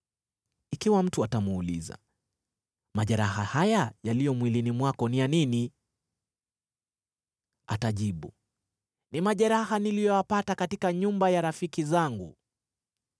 Ikiwa mtu atamuuliza, ‘Majeraha haya yaliyo mwilini mwako ni ya nini?’ Atajibu, ‘Ni majeraha niliyoyapata katika nyumba ya rafiki zangu.’